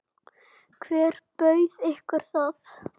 Hver bauð ykkur það?